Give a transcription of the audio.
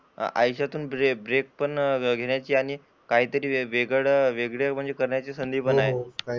आयुष्यातून तुझे ब्रेक पण घेण्याची आणि काहीतरी वेगळे म्हणजे करण्याची संधी पण आहे.